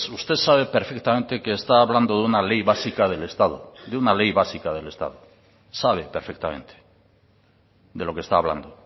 usted sabe perfectamente que está hablando de una ley básica del estado de una ley básica del estado sabe perfectamente de lo que está hablando